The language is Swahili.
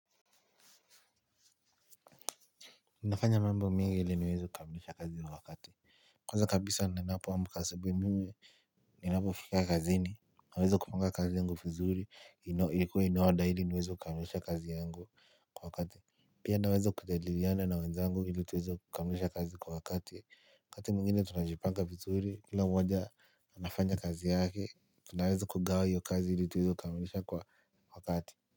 Nafanya mambo mengi ni vili nime kamilisha kazi kwa wakati. Kwanza kabisa ninapo amka asubuhi mimi ninapo fika kazini. Naweza kupanga kazi yangu vizuri ikuwe in order ili kuweza kukamilisha kazi yangu kwa wakati. Pia naweza kujadiliana na wenzangu ili tuweze kukamilisha kazi kwa wakati wakati mmingine tunajipanga vizuri kila mwaja anafanya kazi yake tunaweza kugawa hiyo kazi ili tuweze kukamilisha kwa wakati.